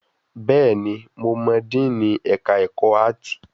Bẹ́ẹ̀ ni, mo mọ díìnì ẹ̀ka ẹ̀kọ́ áàtì?